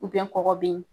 kɔgɔ bɛ yen